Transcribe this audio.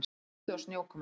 Kuldi og snjókoma